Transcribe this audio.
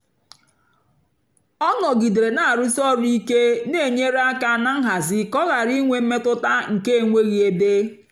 ọ́ nọ̀gídéré nà-àrụ̀sí ọ́rụ̀ íké nà-ènyérè áká nà nhazì kà ọ́ ghárá ínwé mmétụ́tà nkè énweghị́ ébé.